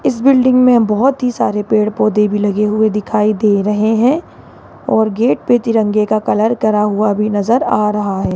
इस बिल्डिंग में बहोत ही सारे पेड़ पौधे भी लगे हुए दिखाई दे रहे हैं और गेट पे तिरंगे का कलर करा हुआ भी नजर आ रहा है।